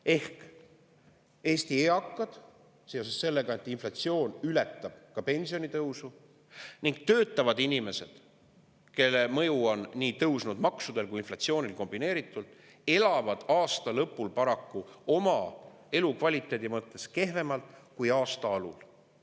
Ehk Eesti eakad seoses sellega, et inflatsioon ületab pensionitõusu, ning töötavad inimesed, kellele on mõju nii tõusnud maksudel kui ka inflatsioonil kombineeritult, elavad aasta lõpul paraku oma elukvaliteedi mõttes kehvemalt kui aasta alul.